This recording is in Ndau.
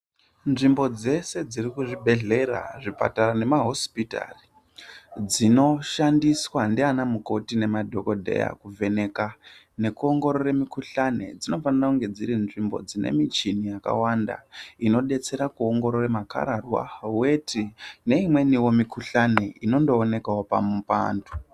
Nzvimbo dzese dzirikuzvibhedhlera , zvipatara namahosipitari dzinoshandiswa ndiana mukoti ngemadhokodheya kuvheneka nekuongorore mikhuhlani dzinofanire kunge dzirinzvimbo dzine michini yakawanda inodetsera kuongorore makararwa , weti neimweniwo mikhuhlani inondoonekawo paantu.